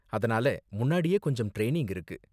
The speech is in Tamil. அதனால முன்னாடியே கொஞ்சம் ட்ரைனிங் இருக்கு.